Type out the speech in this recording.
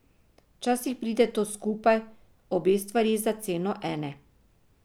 Včasih pride to skupaj, obe stvari za ceno ene.